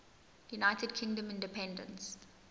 united kingdom independence